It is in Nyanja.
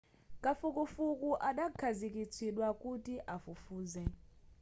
kafukufuku adakhazikitsidwa kuti afufuze